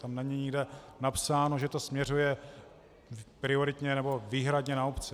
Tam není nikde napsáno, že to směřuje prioritně nebo výhradně na obce.